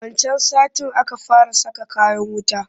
Wancan satin aka fara saka kayan wata